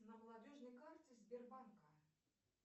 на молодежной карте сбербанка